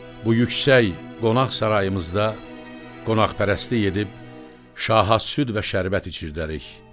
Bu yüksək qonaq sarayımızda qonaqpərəstlik edib şaha süd və şərbət içirdərik.